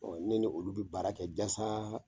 Ɔ ne ni olu bɛ baara kɛ jasa